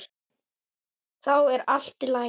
Þá er allt í lagi.